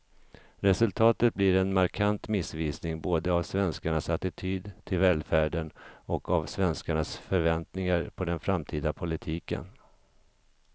Resultatet blir en markant missvisning både av svenskarnas attityd till välfärden och av svenskarnas förväntningar på den framtida politiken.